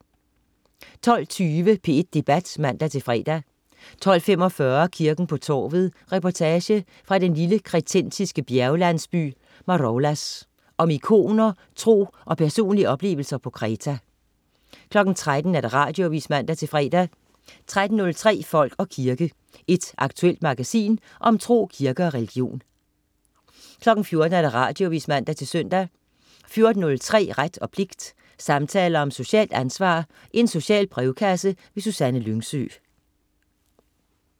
12.20 P1 Debat (man-fre) 12.45 Kirken på torvet. Reportage fra den lille kretensiske bjerglandsby Maroulas. Om ikoner, tro og personlige oplevelser på Kreta 13.00 Radioavis (man-fre) 13.03 Folk og kirke. Et aktuelt magasin om tro, kirke og religion 14.00 Radioavis (man-søn) 14.03 Ret og pligt. Samtaler om socialt ansvar. Social brevkasse. Susanne Lyngsø